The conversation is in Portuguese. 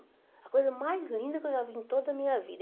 A coisa mais linda que eu já vi em toda a minha vida.